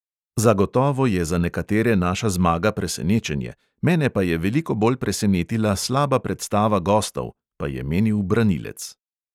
"Zagotovo je za nekatere naša zmaga presenečenje, mene pa je veliko bolj presenetila slaba predstava gostov," pa je menil branilec.